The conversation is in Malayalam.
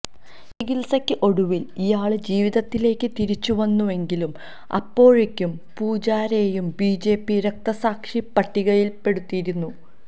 ചികിത്സക്ക് ഒടുവില് ഇയാള് ജീവിതത്തിലേക്ക് തിരിച്ചുവന്നുവെങ്കിലും അപ്പോഴെക്കും പൂജാരെയെ ബിജെപി രക്തസാക്ഷി പട്ടികയില് പെടുത്തിയിരുന്നു